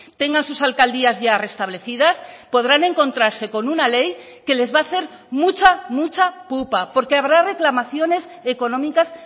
tengan sus alcaldías ya restablecidas podrán encontrarse con una ley que les va a hacer mucha mucha pupa porque habrá reclamaciones económicas